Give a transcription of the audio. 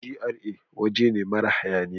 GRA waje ne mara hayaniya.